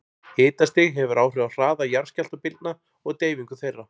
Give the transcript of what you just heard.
Hitastig hefur áhrif á hraða jarðskjálftabylgna og deyfingu þeirra.